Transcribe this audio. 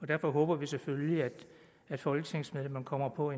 derfor håber vi selvfølgelig at folketingsmedlemmerne kommer på